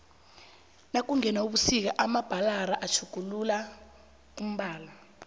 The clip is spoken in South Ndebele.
nakungena ubusika amabhlara atjhuguluka umbala